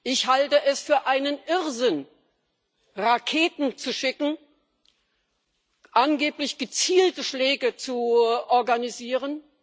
Ich halte es für einen Irrsinn, Raketen zu schicken, angeblich gezielte Schläge zu organisieren!